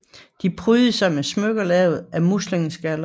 De prydede sig med smykker lavet af muslingeskaller